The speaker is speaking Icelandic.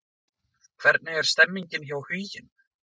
Hvernig er stemningin hjá Huginn?